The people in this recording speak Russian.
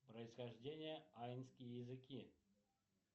происхождение аинские языки